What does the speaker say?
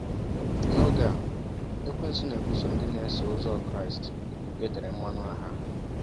N’oge a, ekwensu na-ebuso ndị na-eso ụzọ Kraịst e tere mmanụ agha.